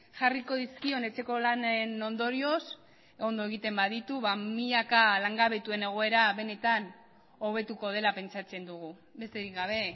jarriko dizkion etxeko lanen ondorioz ondo egiten baditu milaka langabetuen egoera benetan hobetuko dela pentsatzen dugu besterik gabe